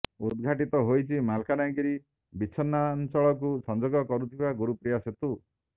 ଉଦ୍ଘାଟିତ ହୋଇଛି ମାଲକାନଗିରି ବିଚ୍ଛିନ୍ନାଞ୍ଚଳକୁ ସଂଯୋଗ କରୁଥିବା ଗୁରୁପ୍ରିୟା ସେତୁ